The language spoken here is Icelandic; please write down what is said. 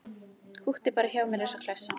Húkti bara hjá mér eins og klessa.